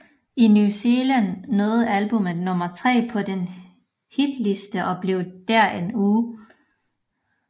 I New Zealand nåede albummet nummer tre på den hitliste og blev der i en uge